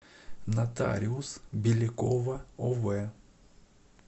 нотариус белякова ов